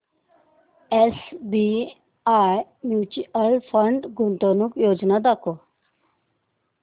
SBI mutual fund गुंतवणूक योजना दाखव